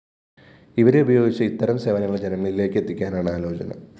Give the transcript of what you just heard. ഇവരെ ഉപയോഗിച്ച് ഇത്തരം സേവനങ്ങള്‍ ജനങ്ങളിലേക്ക് എത്തിക്കാനാണ് ആലോചന